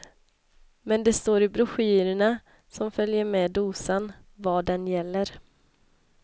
Men det står i broschyrerna, som följer med dosan, var den gäller.